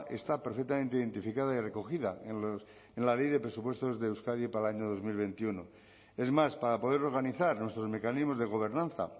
está perfectamente identificada y recogida en la ley de presupuestos de euskadi para el año dos mil veintiuno es más para poder organizar nuestros mecanismos de gobernanza